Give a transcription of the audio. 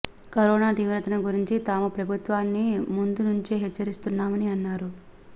corona తీవ్రతను గురించి తాము ప్రభుత్వాన్ని ముందు నుంచే హెచ్చరిస్తున్నామని అన్నారు